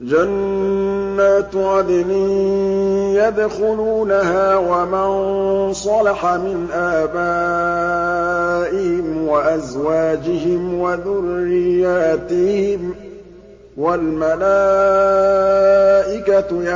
جَنَّاتُ عَدْنٍ يَدْخُلُونَهَا وَمَن صَلَحَ مِنْ آبَائِهِمْ وَأَزْوَاجِهِمْ وَذُرِّيَّاتِهِمْ ۖ وَالْمَلَائِكَةُ